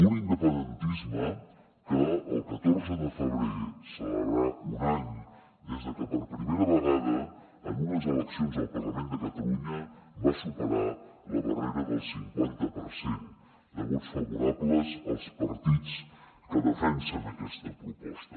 un independentisme que el catorze de febrer celebrarà un any des que per primera vegada en unes eleccions al parlament de catalunya va superar la barrera del cinquanta per cent de vots favorables als partits que defensen aquesta proposta